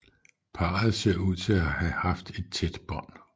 Parret ser ud til at have haft et tæt bånd